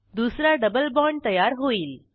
दुसरा double bond तयार होईल